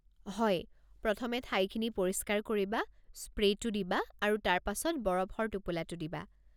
হয়, প্ৰথমে ঠাইখিনি পৰিষ্কাৰ কৰিবা, স্প্ৰে'টো দিবা, আৰু তাৰ পাছত বৰফৰ টোপোলাটো দিবা।